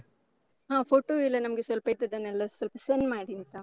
ಹಾ photo ಎಲ್ಲ ನಮ್ಗೆ ಸ್ವಲ್ಪ ಇದ್ದದ್ದನ್ನೆಲ್ಲ ಸ್ವಲ್ಪ send ಮಾಡಿ ಆಯ್ತಾ?